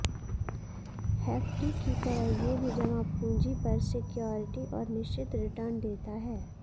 FD की तरह ये भी जमा पूंजी पर सिक्योरिटी और निश्चित रिटर्न देता है